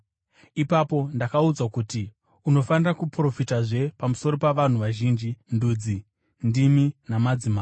Ipapo ndakaudzwa kuti, “Unofanira kuprofitazve pamusoro pavanhu vazhinji, ndudzi, ndimi namadzimambo.”